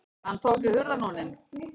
Hann tók í hurðarhúninn.